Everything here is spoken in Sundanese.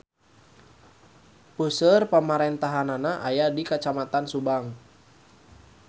Puseur pamarentahannana aya di Kacamatan Subang.